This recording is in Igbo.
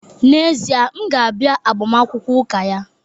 N'ezie, m ga-abịa agbamakwụkwọ ụka ya?